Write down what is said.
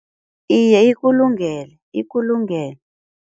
Iye ikulungele ikulungele.